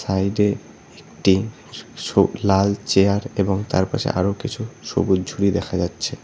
সাইডে একটি স লাল চেয়ার এবং তার পাশে আরও কিছু সবুজ ঝুড়ি দেখা যাচ্ছে।